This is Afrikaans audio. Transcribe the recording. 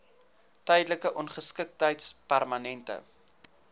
tydelike ongeskiktheid permanente